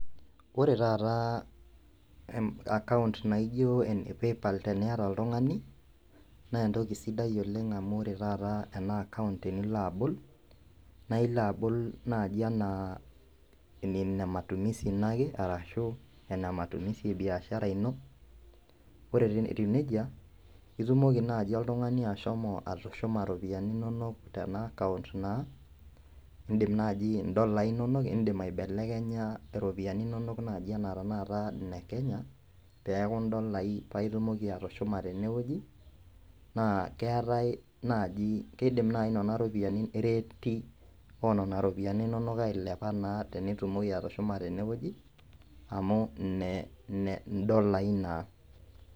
Ore taata account naijio ene paypal teniata oltung'ani nentoki sidai oleng amu ore taata ena account tenilo abol nailo abol naaji anaa ine matumisi ino ake arashu ene matumisi e biashara ino ore etiu nejia itumoki naaji oltung'ani ashomo atushuma iropiyiani inonok tena account naa indim naaji indolai inonok indim aibelekenya iropiani inonok naaji enaa tenakata ine kenya peeku indolai paitumoki atushuma tenewueji naa keetae naaji keidim naaji nana ropiyiani ireti onana ropiyiani inonok ailepa naa tenitumoki atushuma tenewueji amu ine indolai naa.